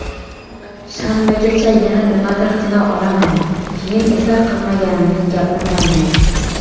Shanbagacha yana nimadir qila olaman, keyin esa qilmaganimni gapirmayman.